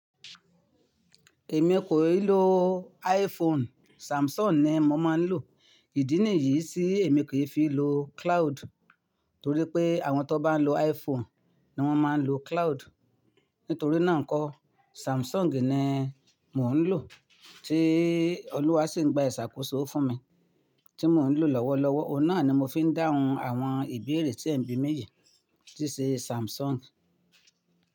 Èmi kò ì lo iPhone, Samsung ni mo máa ń lò. Ìdí nìyí tí èmi kì í fi lo cloud, torí pé àwọn tó bá lọ iPhone ni wọ́n máa ń lo cloud. Nítorí náà nkọ́ Samsung ni mò ń lò tí Olúwa ń sì gba ìṣàkóso fún mi. Tí mò ń lò lọ́wọ́lọ́wọ́, ohun náà ni mo fi ń dáhùn àwọn ìbéèrè tí ẹ̀ ń bí mi yìí, tí ṣe Samsung.